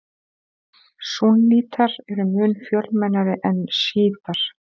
Súnnítar eru mun fjölmennari en sjítar.